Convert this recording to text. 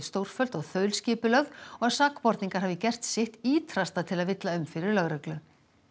stórfelld og þaulskipulögð og að sakborningar hafi gert sitt ýtrasta til að villa um fyrir lögreglu